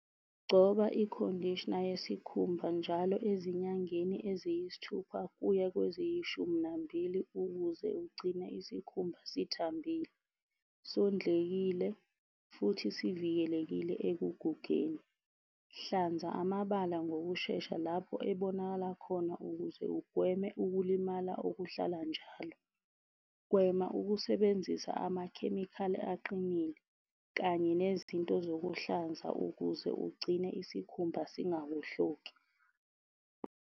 Gcoba i-conditioner yesikhumba njalo ezinyangeni eziyisithupha kuya kweziyishumi nambili ukuze ugcine isikhumba sithambile, sondlekile, futhi sivikelekile ekugugeni. Hlanza amabala ngokushesha lapho ebonakala khona ukuze ugweme ukulimala okuhlala njalo. Gwema ukusebenzisa amakhemikhali aqinile, kanye nezinto zokuhlanza ukuze ugcine isikhumba singawohloki.